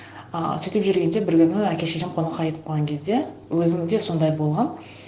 ыыы сөйтіп жүргенде бір күні әке шешем қонаққа кетіп қалған кезде өзімде сондай болған